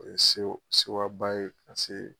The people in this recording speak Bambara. O ye sewo sewaba ye pase